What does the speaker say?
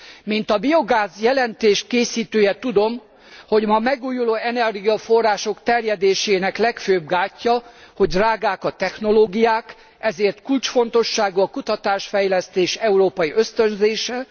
Mint a biogáz jelentés készítője tudom, hogy ma a megújuló energiaforrások terjedésének legfőbb gátja, hogy drágák a technológiák, ezért kulcsfontosságú a kutatás fejlesztés európai ösztönzése.